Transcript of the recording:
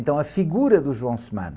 Então a figura do João,